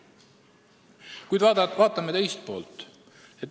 Kuid vaatame ka teist poolt.